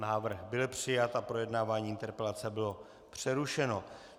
Návrh byl přijat a projednávání interpelace bylo přerušeno.